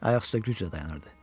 Ayaq üstə güclə dayanırdı.